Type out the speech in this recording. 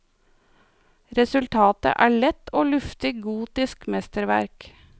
Resultatet er et lett og luftig gotisk mesterverk.